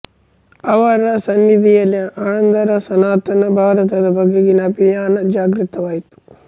ಅವರ ಸನ್ನಿಧಿಯಲ್ಲಿ ಆನಂದರ ಸನಾತನ ಭಾರತದ ಬಗೆಗಿನ ಅಭಿಮಾನ ಜಾಗೃತವಾಯಿತು